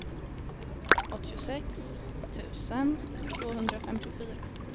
åttiosex tusen tvåhundrafemtiofyra